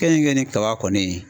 Keninke ni kaba kɔni.